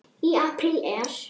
Í apríl er